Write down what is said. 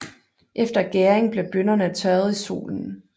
Efter gæringen bliver bønnerne tørret i solen